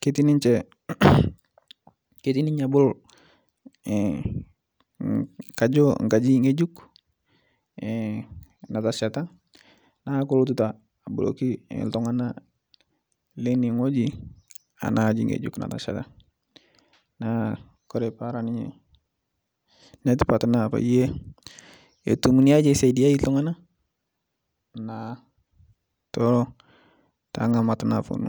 ketii ninche ketii ninye abol kajo nkaji ng'ejuk natashata naaku kolotuta aboloki ltungana leine ng'oji ana aji ng'ejuk natashata naa Kore peraa ninye netipat naa payie etum niaji esaidiai ltungana naatoo tenga'amat naponu